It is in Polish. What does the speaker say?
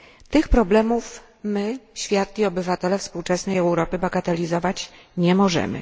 Tych problemów my świat i obywatele współczesnej Europy bagatelizować nie możemy.